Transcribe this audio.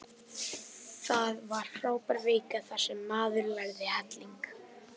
Það var frábær vika þar sem maður lærði helling.